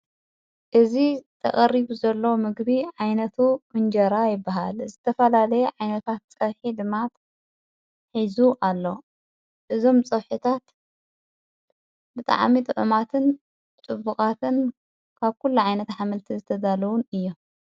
እዝ ተቐሪቡ ዘለዉ ምግቢ ዓይነቱ እንጀራ ይበሃል ዘተፋላለየ ዓይነታት ጸርሕ ድማት ኂዙ ኣሎ እዞም ፀውሒታት ብጥዓሚጥ ዑማትን ጥቡቓትን ካብ ኲሉ ዓይነት ኃመልቲ ዘተዳለዉን እዮ።